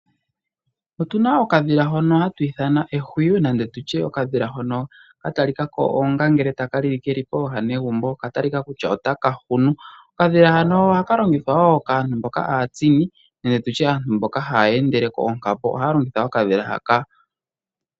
Otuna okadhila hoka hatu ithana ehuywi nenge tutye okadhila hono ka talika ko onga ngele taka lili keli pooha negumbo, okatalika kutya otaka hunu. Okadhila hano ohaka longithwa wo kaantu mboka aatsini nenge tutye aantu mboka haya endele koonghambo, ohaya longitha okadhila haka.